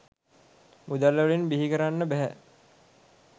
මුදල්වලින් බිහිකරන්න බැහැ.